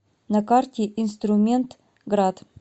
на карте инструментград